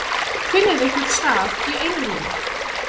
Finnið ykkur stað í einrúmi.